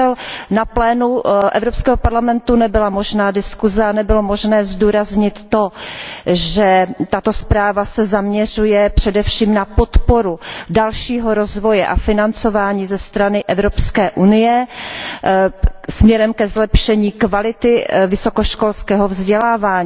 Bohužel na plénu Evropského parlamentu nebyla možná diskuse a nebylo možné zdůraznit to, že tato zpráva se zaměřuje především na podporu dalšího rozvoje a financování ze strany Evropské unie směrem ke zlepšení kvality vysokoškolského vzdělávání